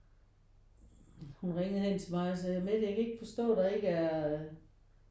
Hun ringede hen til mig og sagde Mette jeg kan ikke forstå der ikke er